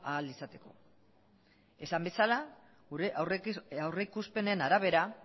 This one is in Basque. ahal izateko esan bezala gure aurrikuspenen arabera